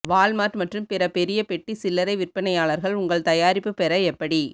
Walmart மற்றும் பிற பெரிய பெட்டி சில்லறை விற்பனையாளர்கள் உங்கள் தயாரிப்பு பெற எப்படி